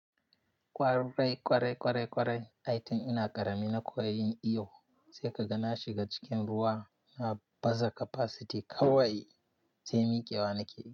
Kwarai, kwarai, kwarai, kwarai. Aitin ina ƙarami na koyon iyo, sai ka ga na shiga cikin ruwa, na baza capacity kawai sai miƙewa nake yi.